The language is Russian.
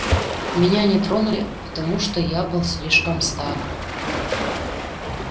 меня не тронули потому что я был слишком стар